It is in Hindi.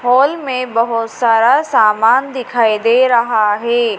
हॉल में बहुत सारा सामान दिखाई दे रहा है।